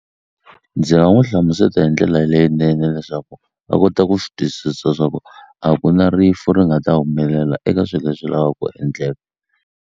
Ndzi nga n'wu hlamuseta hi ndlela leyinene leswaku a kota ku swi twisisa swa ku a ku na rifu ri nga ta humelela eka swi leswi lavaku endleka.